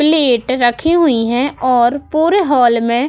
plate रखी हुई है और पूरे हाल में --